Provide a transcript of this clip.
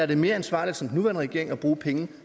det er mere ansvarligt som nuværende regering at bruge penge